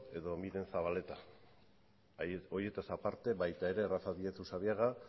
edo miren zabaleta horietaz aparte baita ere rafa díez usabiaga